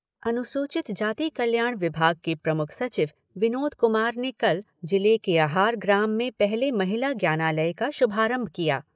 अनुसूचित जाति कल्याण विभाग के प्रमुख सचिव विनोद कुमार ने कल जिले के अहार ग्राम में पहले महिला ज्ञानालय का शुभारंभ किया।